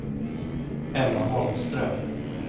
Emma Holmström